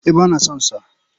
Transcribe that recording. Eh ba na son sa.